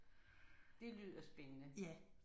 Det lyder spændende